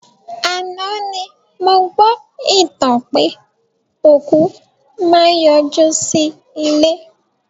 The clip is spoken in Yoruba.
Àná ni mo gbọ́ ìtàn pé òkú máa n yọ jú sí ilé